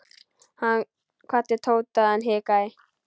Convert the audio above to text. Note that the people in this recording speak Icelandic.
Hann kvaddi Tóta en hikaði.